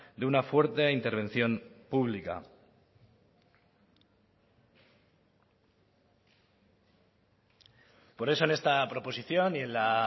de una fuerte intervención pública por eso en esta proposición y en la